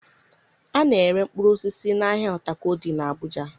A na-ere mkpụrụ osisi n'ahịa Utako dị n'Abuja